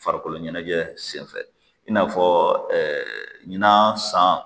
Farikolo ɲɛnajɛ sen fɛ i n'a fɔ ɲinan san